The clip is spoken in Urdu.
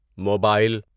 موباٮٔل